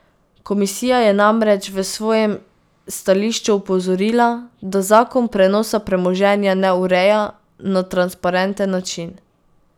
Komisija je namreč v svojem stališču opozorila, da zakon prenosa premoženja ne ureja na transparenten način.